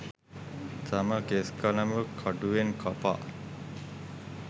තම කෙස්කලඹ කඩුවෙන් කපා